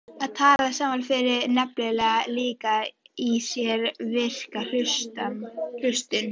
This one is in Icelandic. Að tala saman felur nefnilega líka í sér virka hlustun.